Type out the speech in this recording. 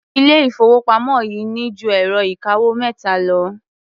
Ilé-ìfowópamọ́ yìí ní ju ẹ̀rọ-ìkawó mẹ́ta lọ.